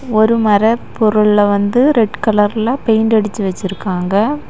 ஒரு மர பொருள வந்து ரெட் கலர் ல பெயிண்ட் அடிச்சி வெச்சிருக்காங்க.